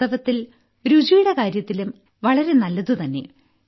വാസ്തവത്തിൽ രുചിയുടെ കാര്യത്തിലും വളരെ നല്ലതുതന്നെ